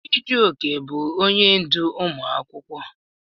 Chijioke bụ onye ndú ụmụ akwụkwọ.